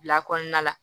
Bila kɔnɔna la